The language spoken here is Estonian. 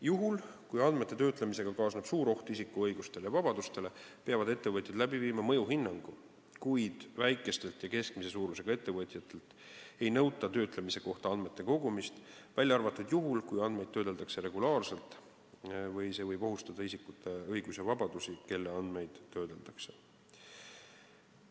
Juhul, kui andmete töötlemisega kaasneb suur oht isiku õigustele ja vabadustele, peavad ettevõtted tegema mõjuhinnangu, kuid väikestelt ja keskmise suurusega ettevõtetelt ei nõuta töötlemise kohta andmete kogumist, välja arvatud juhul, kui andmeid töödeldakse regulaarselt või see võib ohustada nende isikute õigusi ja vabadusi, kelle andmeid töödeldakse.